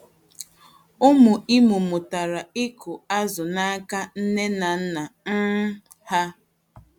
Ụmụ Imo mụtara ịkụ azụ n'aka nne na nna um ha.